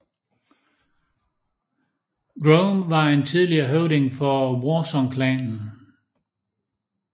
Grom var en tidligere høvding for Warsong Clanen